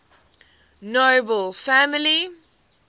nobel family